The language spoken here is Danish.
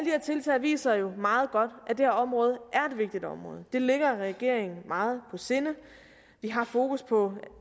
her tiltag viser jo meget godt at det her område er et vigtigt område det ligger regeringen meget på sinde vi har fokus på